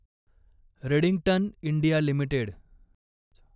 Redington India limited